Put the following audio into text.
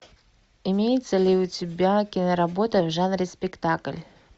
имеется ли у тебя киноработа в жанре спектакль